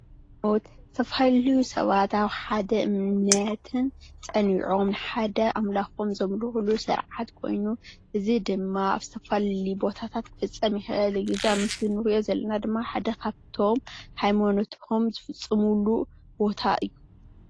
ሃይማኖት፦ ዝተፈላለዩ ሰባት ኣብ ሓደ እምነትን ፀኒዖም ሓደ ኣምላኾም ዘምልኽሉ ስርዓት ኾይኑ እዚ ድማ ኣብ ዝተፈላለዩ ቦታታት ክፍፀም ይክእል እዩ። እዚ ኣብ ምስሊ እንርእዮ ዘለና ድማ ሓደ ካብቶም ሃይማኖትኹም ዝፍፅምሉ ቦታ እዩ።